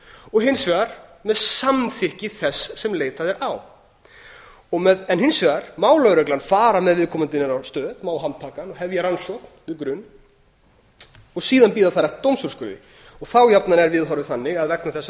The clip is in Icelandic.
og hins vegar með samþykki þess sem leitað er á hins vegar má lögreglan fara með viðkomandi niður á stöð má handtaka hann og hefja rannsókn við grun og síðan bíða þar eftir dómsúrskurði þá jafnan er viðhorfið þannig að vegna þess að